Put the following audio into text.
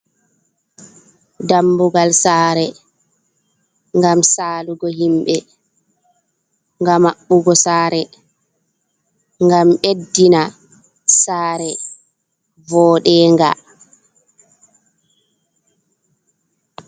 Dambugal sare gam salugo himbe, gam mabbugo sare, gam beddina sare vodenga.